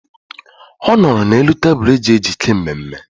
Ọ nọrọ n'elu tebụl eji ejike mmemme.